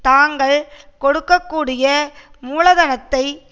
தாங்கள் கொடுக்க கூடிய மூலதனத்தை